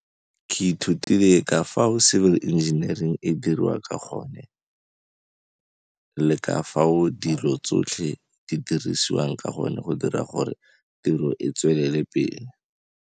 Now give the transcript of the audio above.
Ke ithutile ka fao civil engineering e dirang ka gone le ka fao dilo tsotlhe di dirisiwang ka gone go dira gore tiro e tswelele pele.